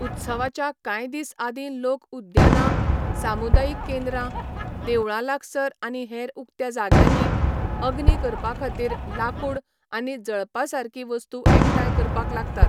उत्सवाच्या कांय दीस आदीं लोक उद्यानां, सामुदायिक केंद्रां, देवळां लागसार आनी हेर उक्त्या जाग्यांनी अग्नी करपा खातीर लांकूड आनी जळपासारकीं वस्तू एकठांय करपाक लागतात.